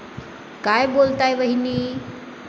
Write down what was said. काय बोलताय वहिनी?